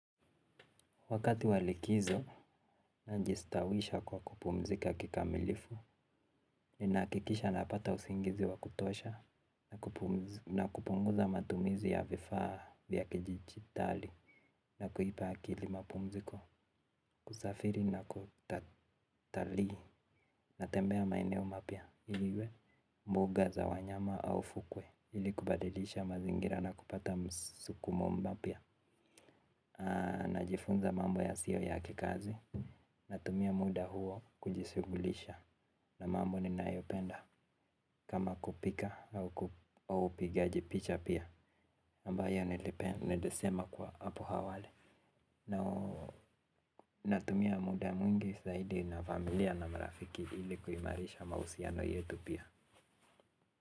Wakati wa likizo, najistawisha kwa kupumzika kikamilifu ninakikisha napata usingizi wa kutosha. Na kupunguza matumizi ya vifaa vya kidijitali na kuipa akili mapumziko. Kusafiri na kutatali. Natembea maineo mapya. Iliwe mbuga za wanyama au fukwe. Ili kubadilisha mazingira na kupata msukumo mpya. Najifunza mambo yasio ya kikazi. Natumia muda huo kujisugulisha na mambo ninayopenda kama kupika au upigaji picha pia ambayo nilisema kwa apo awali. Natumia muda mwingi zaidi na familia na marafiki ili kuimarisha mausiano yetu pia.